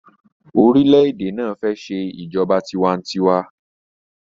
orilẹ-ède náa fè ṣe ìjọba tiwa-n-tiwa.